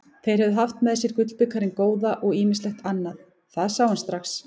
Þeir höfðu haft með sér gullbikarinn góða og ýmislegt annað, það sá hann strax.